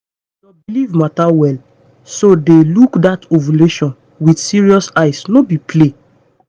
your belief matter well. so dey look that ovulation with serious eye no be play.